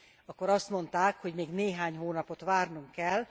Akkor azt mondták, hogy még néhány hónapot várnunk kell.